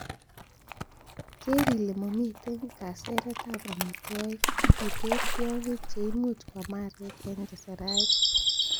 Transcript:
Keer ile momiten kaseretab amitwogik, ak iter tiongik che imuch kwam aarek en keserait.